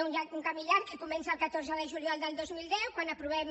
anat un camí llarg que comença el catorze de juliol del dos mil deu quan aprovem